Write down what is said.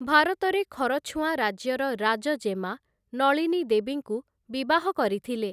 ଭାରତରେ ଖରଛୁଆଁ ରାଜ୍ୟର ରାଜଜେମା ନଳିନୀ ଦେବୀଙ୍କୁ ବିବାହ କରିଥିଲେ ।